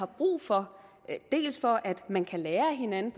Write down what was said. brug for dels for at man kan lære hinanden